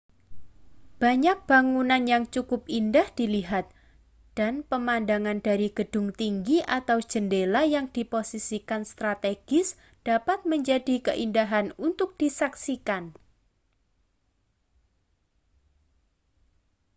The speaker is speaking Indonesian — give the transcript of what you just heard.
banyak bangunan yang cukup indah dilihat dan pemandangan dari gedung tinggi atau jendela yang diposisikan strategis dapat menjadi keindahan untuk disaksikan